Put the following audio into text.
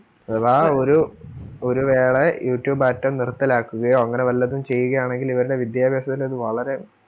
അഥവാ ഒരു ഒരു വേളെ youtube ആറ്റോ നിർത്തലാക്കുകയോ, അങ്ങനെ വല്ലതും ചെയ്യുകയാണെങ്കിൽ ഇവര്ടെ വിദ്യാഭ്യാസത്തിൽ അത് വളരേ